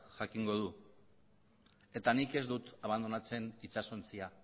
jakingo du eta nik ez dut abandonatzen itsasontzia